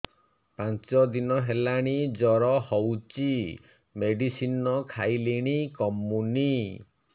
ପାଞ୍ଚ ଦିନ ହେଲାଣି ଜର ହଉଚି ମେଡିସିନ ଖାଇଲିଣି କମୁନି